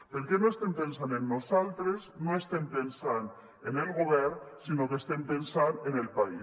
perquè no estem pensant en nosaltres no estem pensant en el govern sinó que estem pensant en el país